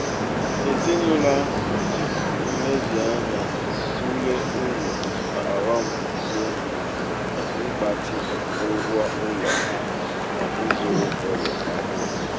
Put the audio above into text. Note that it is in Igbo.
ezinụlọ ahụ ji nlezianya tụlee uru na ọghọm dị n'ịgbatị ụgwọ ụlọ ha na ịzụrụ ụlọ ọhụrụ.